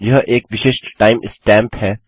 यह एक विशिष्ट time स्टैंप है